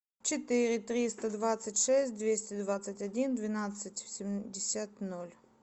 четыре триста двадцать шесть двести двадцать один двенадцать семьдесят ноль